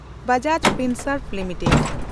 Bajaj Finserv limited